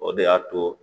O de y'a to